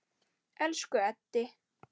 Elsku Eddi.